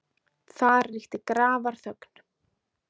Þar ríkti grafarþögn.